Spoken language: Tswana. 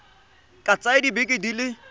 ka tsaya dibeke di le